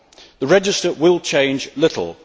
The register will change little